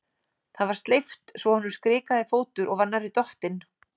Það var sleipt svo honum skrikaði fótur og var nærri dottinn.